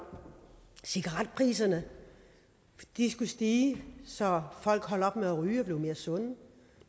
cigaretpriserne skulle stige så folk holdt op med at ryge og blev mere sunde